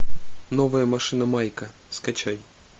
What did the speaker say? новая машина майка скачай